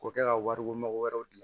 K'o kɛ ka wari ko mɔgɔ wɛrɛ di